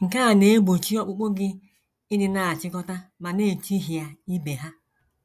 Nke a na - egbochi ọkpụkpụ gị ịdị na - echikọta ma na - echihịa ibe ha.